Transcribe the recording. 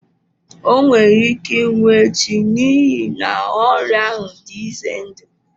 O nwere ike ịnwụ echi n'ihi na ọrịa ahụ dị ize ndụ.